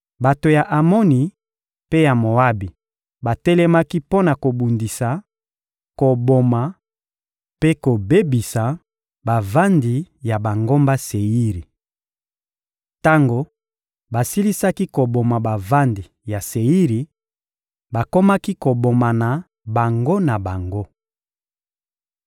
Bato ya Amoni mpe ya Moabi batelemaki mpo na kobundisa, koboma mpe kobebisa bavandi ya bangomba Seiri. Tango basilisaki koboma bavandi ya Seiri, bakomaki kobomana bango na bango.